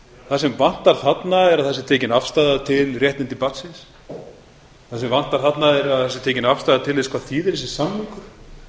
það sem vantar þarna er að það sé tekin afstaða til réttinda barnsins það sem vantar þarna er að það sé tekin afstaða til þess hvað þýðir þessi